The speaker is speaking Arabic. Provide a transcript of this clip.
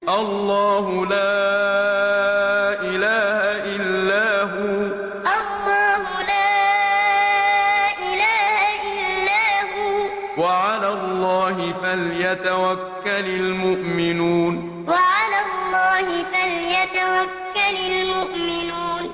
اللَّهُ لَا إِلَٰهَ إِلَّا هُوَ ۚ وَعَلَى اللَّهِ فَلْيَتَوَكَّلِ الْمُؤْمِنُونَ اللَّهُ لَا إِلَٰهَ إِلَّا هُوَ ۚ وَعَلَى اللَّهِ فَلْيَتَوَكَّلِ الْمُؤْمِنُونَ